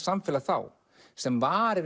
samfélag þá sem var